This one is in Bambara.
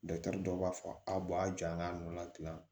dɔw b'a fɔ a b'a jaa k'a nɔ la tila